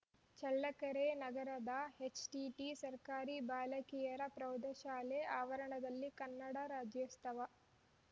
ಚಳ್ಳಕೆರೆ ನಗರದ ಎಚ್‌ಟಿಟಿ ಸರ್ಕಾರಿ ಬಾಲಕಿಯರ ಪ್ರೌಢಶಾಲೆ ಆವರಣದಲ್ಲಿ ಕನ್ನಡ ರಾಜ್ಯೋತ್ಸವ